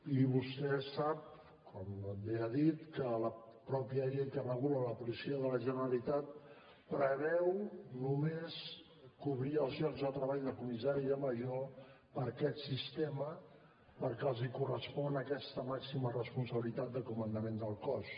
i vostè sap com bé ha dit que la mateixa llei que regula la policia de la generalitat preveu només cobrir els llocs de treball de comissari i de major per aquest sistema perquè els correspon aquesta màxima responsabilitat de comandament del cos